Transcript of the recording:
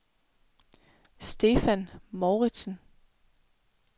Stefan Mouritzen